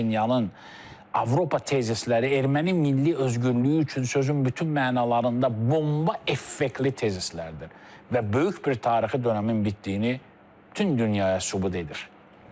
Paşinyanın Avropa tezisləri erməni milli özgürlüyü üçün sözün bütün mənalarında bomba effektli tezislərdir və böyük bir tarixi dönəmin bitdiyini bütün dünyaya sübut edir.